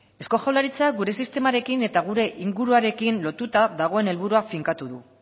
eusko jaurlaritza gure sistemarekin eta gure inguruarekin lotuta dagoen helburua finkatu du